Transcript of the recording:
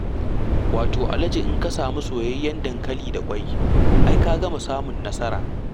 Wato alaji in ka sami soyayyen dankali da ƙwai, ai ka gama samun nasara.